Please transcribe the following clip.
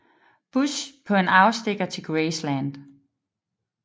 Bush på en afstikker til Graceland